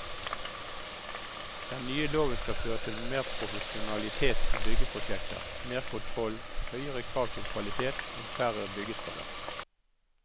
Den nye loven skal føre til mer profesjonalitet i byggeprosjekter, mer kontroll, høyere krav til kvalitet og færre byggeskader.